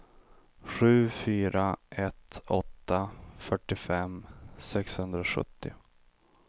sju fyra ett åtta fyrtiofem sexhundrasjuttio